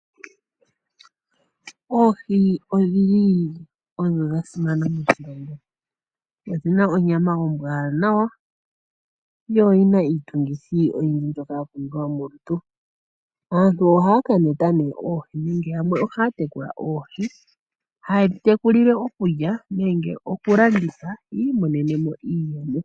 Oohi odhili odho dha simana moshilongo. Odhina onyama ombwaanawa, yo oyina iitungithi oyindji mbyoka ya pumbiwa molutu. Aantu ohaya kameta oohi nee nenge yamwe ohaya tekula oohi, haye dhi tekulile okulya nenge oku landitha yi imonenemo iiyemo.